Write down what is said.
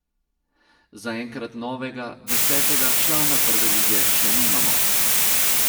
Zaenkrat novega, desetega, člana Prve lige še nimamo.